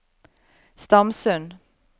Stamsund